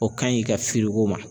O kaɲi ka feere u ma